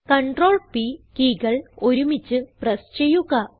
Ctrl P key കൾ ഒരുമിച്ച് press ചെയ്യുക